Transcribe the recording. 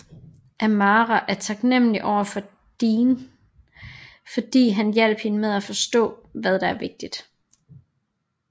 Amara er taknemmelig overfor Dean fordi han hjalp hende med at forstå hvad der er vigtigt